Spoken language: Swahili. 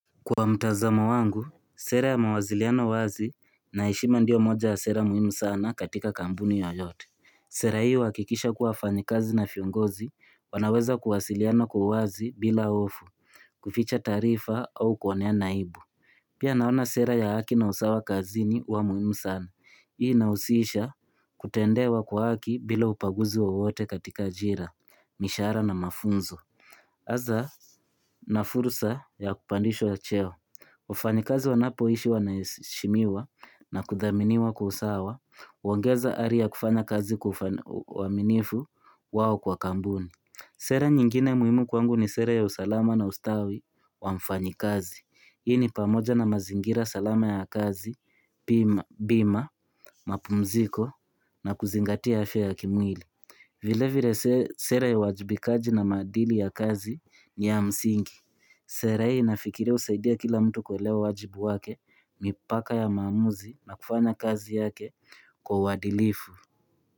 Kwa mtazamo wangu, sera ya mawaziliano wazi na heshima ndiyo moja ya sera muhimu sana katika kambuni yoyote. Sera hii huwakikisha kuwa wafanyikazi na fiongozi, wanaweza kuwasiliana kwa uwazi bila ofu, kuficha taarifa au kuoneana aibu. Pia naona sera ya haki na usawa kazini wa muhimu sana. Hii inahusisha kutendewa kwa haki bila ubaguzi wowote katika jira, mishaara na mafunzo. Aza na fursa ya kupandishwa cheo, wafanyikazi wanapo ishi wanaheshimiwa na kudhaminiwa kwa usawa, uwaongeza ari ya kufanya kazi kufa na waminifu wao kwa kambuni. Sera nyingine muhimu kwangu ni sera ya usalama na ustawi wa mfanyikazi. Hii ni pamoja na mazingira salama ya kazi, bima, mapumziko na kuzingatia afya ya kimwili. Vile vile sera ya uwajibikaji na maadili ya kazi ni ya msingi. Sera hii nafikiria husaidia kila mtu kuwelewa wajibu wake, mipaka ya maamuzi na kufanya kazi yake kwa uwadilifu.